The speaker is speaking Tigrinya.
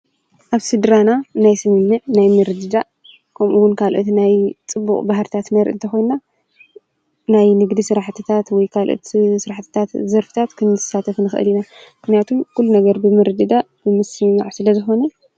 ኣብ ስድራ ናይ ስምምዕ ናይ ምርድዳእ ከምኡውን ናይ ካልኦት ናይ ፅቡቕ ባህርታት ነርኢ ተኾይና ናይ ንግዲ ስራሕትታት ወይ ካልኦት ስራሕትታት ዘርፍታት ክንሳተፍ ንኽእል ኢና፡፡ ምኽንያቱ ኩሉ ነገር ብምርድዳእ ብምስምማዕ ስለዝኾነ፡፡